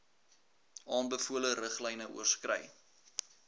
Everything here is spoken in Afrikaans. aanbevole riglyne oorskry